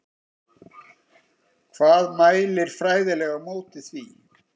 Hvað mælir fræðilega á móti því?